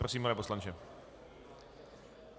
Prosím, pane poslanče.